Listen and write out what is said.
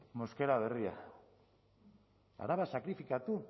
mosquera berria araba sakrifikatu